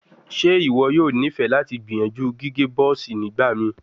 Ṣe iwọ yoo nifẹ lati gbiyanju gige buzz nigbamii?